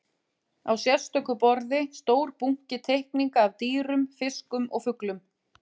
Á sérstöku borði stór bunki teikninga af dýrum, fiskum og fuglum.